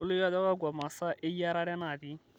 tolikioki ajo kakua masaa eyierare naatii